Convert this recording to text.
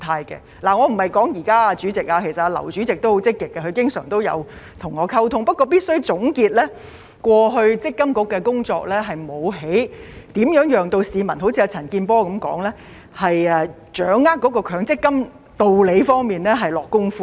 主席，我說的不是現在，其實劉主席也相當積極，他經常和我溝通，但總結過去積金局的工作，正如陳健波議員所說，沒有在解說強積金的道理方面下工夫。